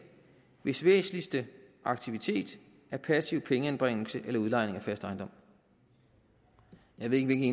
hvis væsentligste aktivitet er passiv pengeanbringelse eller udlejning af fast ejendom jeg ved ikke